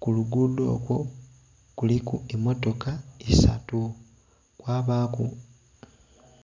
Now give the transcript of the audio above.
kulugudho okwo kuliku emotoka isaatu kwabaku...